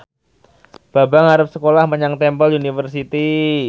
Bambang arep sekolah menyang Temple University